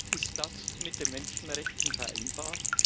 Ist das mit den Menschenrechten vereinbar?